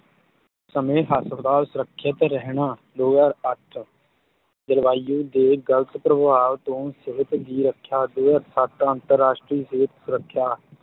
ਸਮੇਂ ਹਸਪਤਾਲ ਸੁਰੱਖਿਅਤ ਰਹਿਣਾ, ਦੋ ਹਜ਼ਾਰ ਅੱਠ ਜਲਵਾਯੂ ਦੇ ਗਲਤ ਪ੍ਰਭਾਵ ਤੋਂ ਸਿਹਤ ਦੀ ਰੱਖਿਆ, ਤੇ ਸੱਤ ਅੰਤਰਰਾਸ਼ਟਰੀ ਸਿਹਤ ਸੁਰੱਖਿਆ